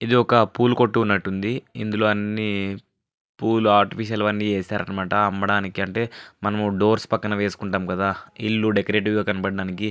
ఇది ఒక పూలు కొట్టు ఉన్నట్టు ఉంది ఇందులో అన్ని పూలు ఆర్టిఫిషల్ అన్ని చేసారు అమ్మడానికి అంటే మనం డోర్స్ పక్కన వేసుకుంటాం కదా ఇల్లు డెకొరేటివ్ గా కనపడటానికి --